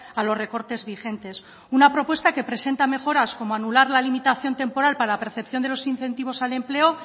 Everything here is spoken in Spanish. a los recortes vigentes una propuesta que presenta mejoras como anular la limitación temporal para la percepción de los incentivos al empleo